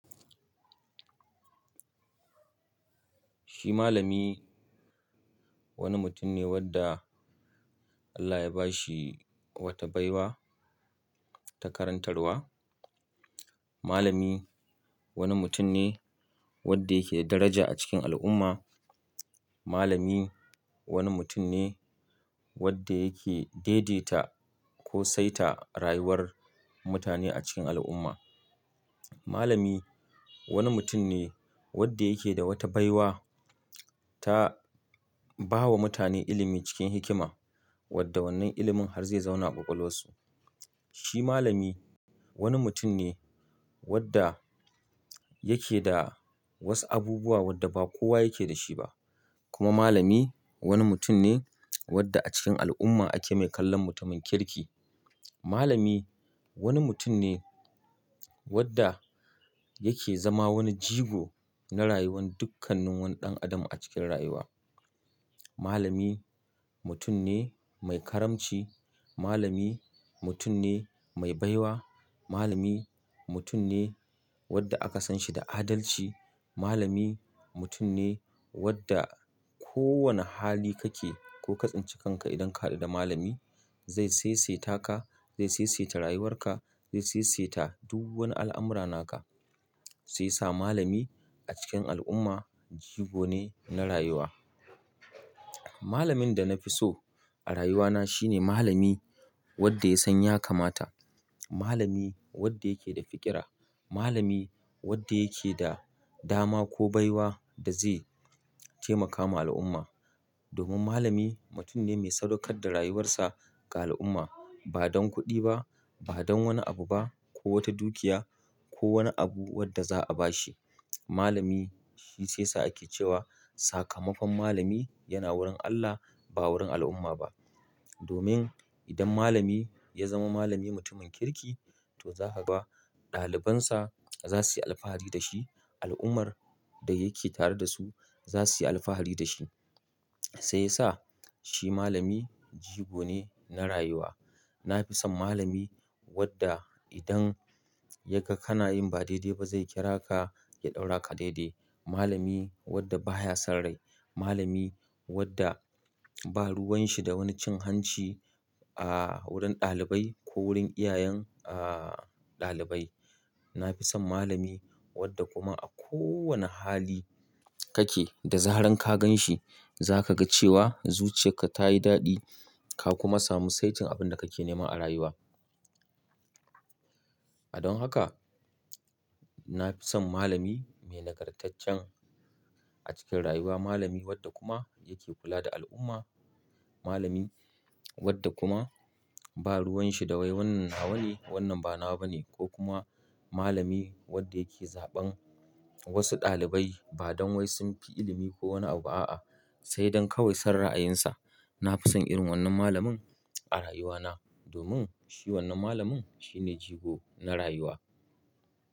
Shi malami wani mutum ne wanda Allah ya ba shi wata baiwa ta karantarwa. Malami wani mutum ne wanda yake da daraja a cikin al'umma. Malami wani mutum ne wanda yake daidaita ko saita rayuwar mutane a cikin al'umma. Malami wani mutum ne wanda yake da wata baiwa ta ba wa mutane ilimi cikin hikima wadda wannan ilimin har zai zauna a kwakwalwarsu. Shi malami wani mutum ne wanda yake da wasu abubuwa wadda ba kowa yake da shi ba. Kuma malami wani mutum ne wadda a cikin al'umma ake mai kallon mutumin kirki. Malami wani mutum ne wadda yake zama wani jigo na rayuwar dukkanin wani ɗan adam a cikin rayuwa. Malami mutum ne mai karamci. Malami mutum ne mai baiwa. Malami mutum ne wadda aka san shi da adalci. Malami mutum ne wadda ko wane hali kake ko kazancikanka idan ka haɗu da malami zai saisaita ka, zai saisaita rayuwarka, zai saisaita duk wani al'amura naka. Sai sa malami a cikin al'umma jigo ne na rayuwa. Malamin da na fi so a rayuwana shine malami wadda ya san ya kamata. Malami wadda yake da fiƙira. Malami wadda yake da dama ko baiwa da zai taimaka wa al'umma. Domin malami mutum ne mai sadaukar da rayuwarsa ga al'umma ba don kuɗi ba, ba don wani abu ba ko wata dukiya ko wani abu wadda za a ba shi. Malami shi sai sa ake cewa sakamakon malami yana wurin Allah ba wurin al'umma ba. Domin idan malami ya zama malami mutumin kirki to za a ga ɗalibansa za su yi alfahari da shi. Al'ummar da yake tare da su za su yi alfahari da shi. Sai sa shi malami jigo ne na rayuwa. Na fi son malami wadda idan ya ga kana yin ba daidai ba zai kira ka ya ɗaura ka daidai. Malami wadda baya son rai. Malami wadda ba ruwan shi da wani cin hanci a wurin ɗalibai ko wurin iyayen aɗalibai. Na fi son malami wadda kuma a ko wane hali kake da zaran ka gan shi za ka ga cewa zuciyarka ta yi daɗi ka kuma samu saitin abin da kake nema a rayuwa. A don haka na fi son malami mai nagartaccen a cikin rayuwa. Malami wadda kuma yake kula da al'umma. Malami wadda kuma ba ruwan shi da wai wannan nawa ne wannan ba nawa ba ne. Ko kuma malami wadda yake zaɓan wasu ɗalibai ba don wai sun fi ilimi ko wani abu a'a sai don kawai son ra'ayinsa. Na fi son irin wannan malamin a rayuwana domin shi wannan malamin shi ne jigo na rayuwa.